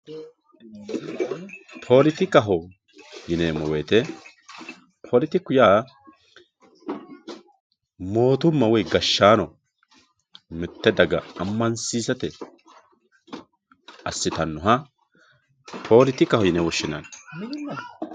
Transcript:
Politikaho yineemo woyite politiku yaa mootuma woyi gashaano mite daga amansisatenino asitanoha politikaho yine woshinani.